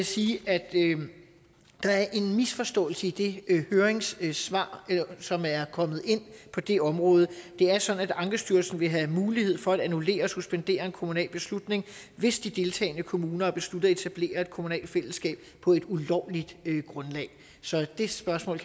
sige at der er en misforståelse i det høringssvar som er kommet ind på det område det er sådan at ankestyrelsen vil have mulighed for at annullere og suspendere en kommunal beslutning hvis de deltagende kommuner har besluttet at etablere et kommunalt fællesskab på et ulovligt grundlag så det spørgsmål